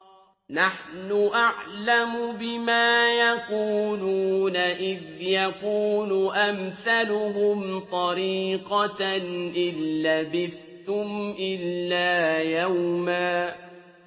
نَّحْنُ أَعْلَمُ بِمَا يَقُولُونَ إِذْ يَقُولُ أَمْثَلُهُمْ طَرِيقَةً إِن لَّبِثْتُمْ إِلَّا يَوْمًا